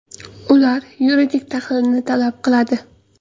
Ular yuridik tahlilni talab qiladi.